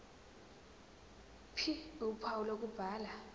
ph uphawu lokubhala